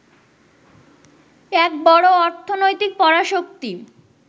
এক বড় অর্থনৈতিক পরাশক্তি